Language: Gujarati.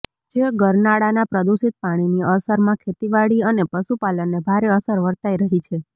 જે ગરનાળાના પ્રદૂષિત પાણીની અસરમાં ખેતીવાડી અને પશુપાલનને ભારે અસર વર્તાઇ રહી છે